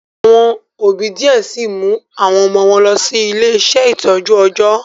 Awọn òbí diẹ síi o mu awọn ọmọ wọn lọ si ile-iṣẹ itọju ọjọ